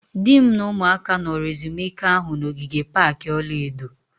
Di m na ụmụaka nọrọ ezumike ahụ na ogige pak ọla edo